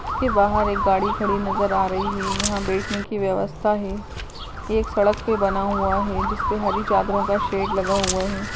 इसके बाहर एक गाड़ी खड़ी नजर आ रही है यहाँ बैठने की व्यवस्था है एक सड़क भी बना हुआ है जिस पर हरी चादरों का शैड लगा हुआ है।